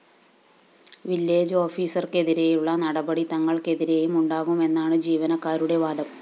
village ഓഫീസര്‍ക്കെതിരെയുള്ള നടപടി തങ്ങള്‍ക്കെതിരെയും ഉണ്ടാകുമെന്നാണ് ജീവനക്കാരുടെ വാദം